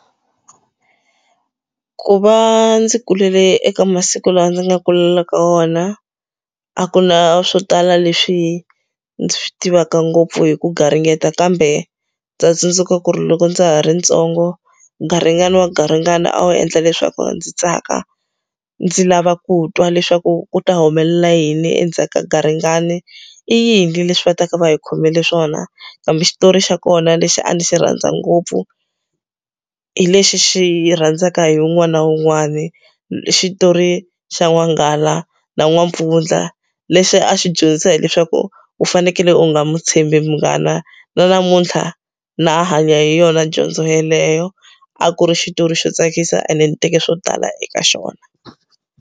Ku va ndzi kulele eka masiku lawa ndzi nga kulela ka wona a ku na swo tala leswi ndzi swi tivaka ngopfu hi ku garingeta kambe ndza tsundzuka ku ri loko ndza ha ri ntsongo garingani wa garingani a wu endla leswaku ndzi tsaka ndzi lava ku twa leswaku ku ta humelela yini endzhaku ka garingani i yini leswi va taka va hi khomele swona hambi xitori xa kona lexi a ndzi xi rhandza ngopfu hi lexi xi rhandzaka hi wun'wani na wun'wani xitori xa n'wanghala na n'wampfundla lexi a xi dyondzisa hileswaku u fanekele u nga mu tshembi munghana na namuntlha na a hanya hi yona dyondzo yeleyo a ku ri xitori xo tsakisa ene ni teke swo tala eka xona.